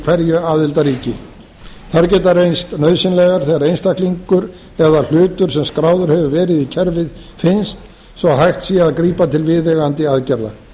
hverju aðildarríki þær geta reynst nauðsynlegar þegar einstaklingur eða hlutur sem skráður hefur verið í kerfið finnst svo hægt sé að grípa til viðeigandi aðgerða